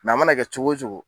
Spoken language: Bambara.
a mana kɛ cogo cogo.